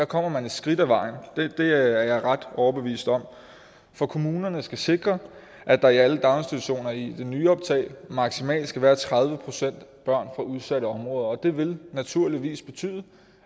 kommer man et skridt ad vejen det er jeg ret overbevist om for kommunerne skal sikre at der i alle daginstitutioner i nyoptag maksimalt skal være tredive procent børn fra udsatte områder og det vil naturligvis betyde